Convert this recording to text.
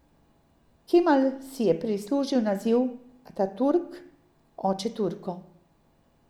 Kemal si je prislužil naziv Ataturk, oče Turkov.